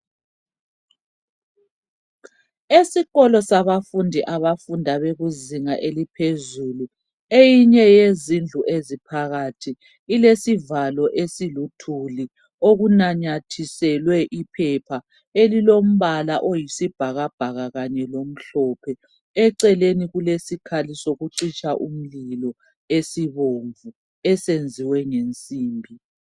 Esikolo sabafundi abafunda bekuzinga eliphezulu. Eyinye yezindlu eziphakathi ilesivalo esiluthuli okunamathiselwe iphepha elilombala oyisi bhakabhaka kanye lomhlophe. Eceleni kulesikhali sokucitsha umlilo esibomvu esenziwe ngensimbi.